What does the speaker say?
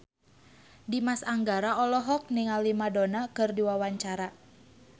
Dimas Anggara olohok ningali Madonna keur diwawancara